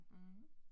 Mh